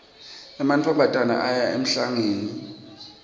emantfombatane aya emhlangeni